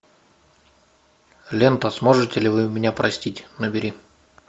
лента сможете ли вы меня простить набери